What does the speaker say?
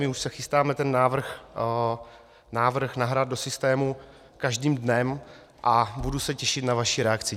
My už se chystáme ten návrh nahrát do systému každým dnem a budu se těšit na vaši reakci.